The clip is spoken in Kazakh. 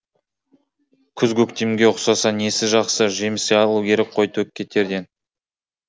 күз көктемге ұқсаса несі жақсы жеміс алу керек қой төкке терден